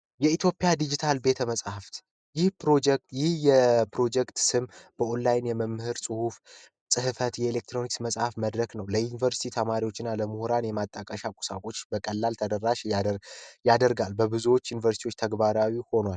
የኢትዮጵያ ዲጂታል ቤተ መጽሐፍት ይህ ፕሮጀክት ይህ የፕሮጀክት ስም በኦላይን የመምህራን ጽህፈት የኤሌክትሮኒክስ መጽሐፍ መድረክ ነው ለዩንቨርስቲ ተማሪዎችና ለምሁራን የማጣቀሻ ቁሳቁስ በቀላል ተደራሽ ያደርጋል በብዙ ዩኒቨርሲቲዎች ተግባራዊ ሆኗል።